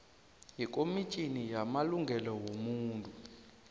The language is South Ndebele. yekomitjhini yamalungelo wobuntu